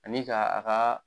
Ani ka a ka